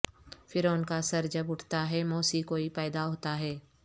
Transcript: فرعون کا سر جب اٹھتا ہے موسی کوئی پیدا ہوتا ہے